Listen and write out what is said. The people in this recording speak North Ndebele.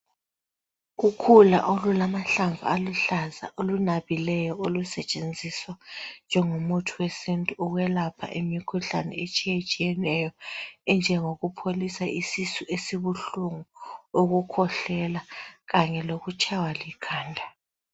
Ukhula olulamahlamvu aluhlaza olunabileyo olusetshenziswa njengomuthi wesintu wokwelapha imikhuhlane etshiyetshiyeneyo enjengokupholisa isisu esibuhlungu, ukukhwehlela kanye lokutshaywa likhanda.